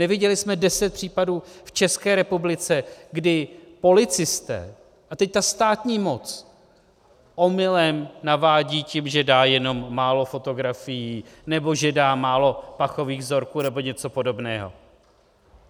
Neviděli jsme deset případů v České republice, kdy policisté a teď ta státní moc omylem navádí tím, že dá jenom málo fotografií nebo že dá málo pachových vzorků nebo něco podobného?